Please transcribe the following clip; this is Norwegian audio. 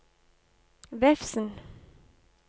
Vefsn